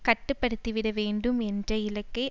கட்டுப்படுத்திவிட வேண்டும் என்ற இலக்கை